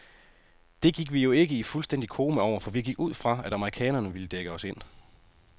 Det gik vi jo ikke i fuldstændig koma over, for vi gik ud fra, at amerikanerne ville dække os ind.